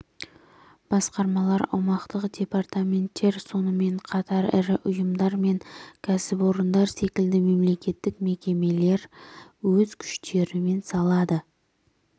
басқармалар аумақтық департаменттер сонымен қатар ірі ұйымдар мен кәсіпорындар секілді мемлекеттік мекемелер өз күштерімен салады